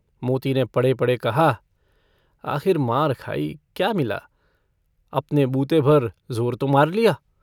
मोती ने पड़े-पड़े कहा - आखिर मार खाई, क्या मिला? अपने बूते-भर ज़ोर तो मार लिया।